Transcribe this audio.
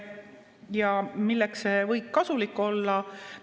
Ja milleks see võib kasulik olla?